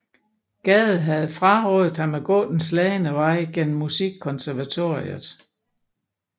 Gade havde frarådet ham at gå den slagne vej gennem Musikkonservatoriet